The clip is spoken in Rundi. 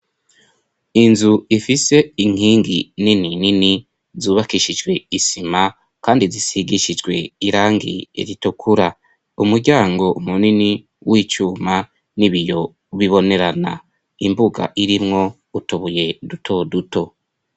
Inzu ifise inkingi nini nini zubakishijwe isima kandi zisigishijwe irangi ritukura. Umuryango munini w'icuma n'ibiyo bibonerana. Imbuga irimwo utubuye duto duto.